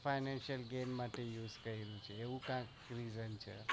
financial game use કર્યું છે એવું કૈક સમજાય છે